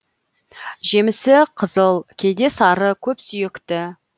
жемісі қызыл кейде сары көпсүйекті